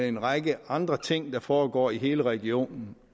en række andre ting der foregår i hele regionen